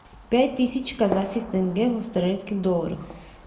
пять тысяч казахских тенге в австралийских долларах